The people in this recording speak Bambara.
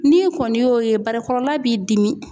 N'i kɔni y'o ye barakɔrɔla b'i dimi